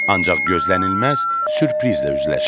Ancaq gözlənilməz sürprizlə üzləşdi.